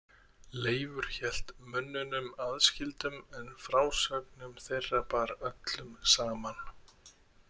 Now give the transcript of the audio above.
Leifur hélt mönnunum aðskildum en frásögnum þeirra bar öllum saman.